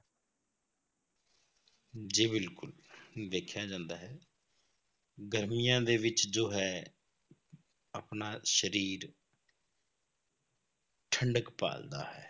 ਜੀ ਬਿਲਕੁਲ ਵੇਖਿਆ ਜਾਂਦਾ ਹੈ ਗਰਮੀਆਂ ਦੇ ਵਿੱਚ ਜੋ ਹੈ ਆਪਣਾ ਸਰੀਰ ਠੰਢਕ ਭਾਲਦਾ ਹੈ,